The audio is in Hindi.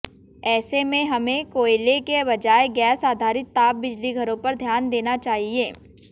ऐसे में हमें कोयले के बजाय गैस आधारित ताप बिजली घरों पर ध्यान देना चाहिए